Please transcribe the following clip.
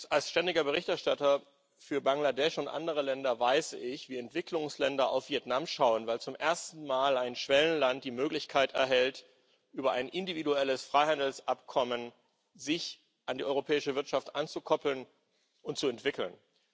Als ständiger Berichterstatter für Bangladesch und andere Länder weiß ich, wie Entwicklungsländer auf Vietnam schauen, weil zum ersten Mal ein Schwellenland die Möglichkeit erhält, sich über ein individuelles Freihandelsabkommen an die europäische Wirtschaft anzukoppeln und zu entwickeln.